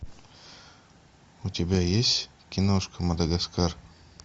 у тебя есть киношка мадагаскар